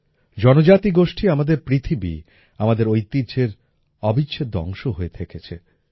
জনজাতীয় গোষ্ঠী আমাদের পৃথিবী আমাদের ঐতিহ্যের অবিচ্ছেদ্য অংশ হয়ে থেকেছে